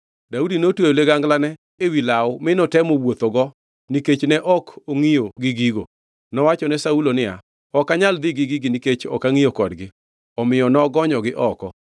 Daudi notweyo liganglane ewi law mi notemo wuothogo nikech ne ok ongʼiyo gi gigo. Nowachone Saulo niya, “Ok anyal dhi gi gigi nikech ok angʼiyo kodgi.” Omiyo nogonyogi oko.